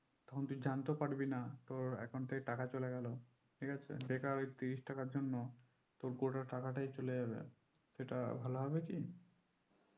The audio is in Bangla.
তখন তুই জানতে পারবি না তোর account থেকে টাকা চলে গেল ঠিক আছে বেকার ওই ত্রিশ টাকার জন্য তোর গোটা টাকাটাই চলে যাবে। সেটা ভালো হবে কি